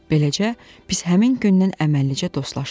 Beləcə biz həmin gündən əməlli-başlı dostlaşdıq.